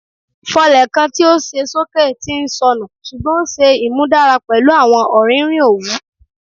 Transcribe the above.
Fọlẹ kan ti o ṣe soke ti nsọnu ṣugbọn o ṣe imudara pẹlu awọn ọririn owu